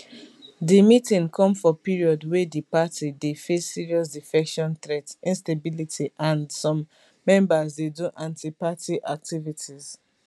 di meeting come for period wey di party dey face serious defection threat instability and some members dey do antiparty activities